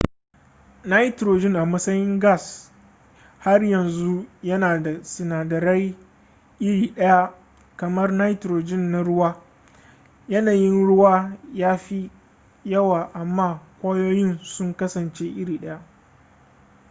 nitrogen a matsayin gas har yanzu yana da sinadarai iri ɗaya kamar nitrogen na ruwa yanayin ruwa ya fi yawa amma kwayoyin sun kasance iri ɗaya